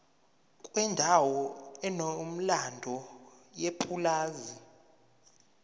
kwendawo enomlando yepulazi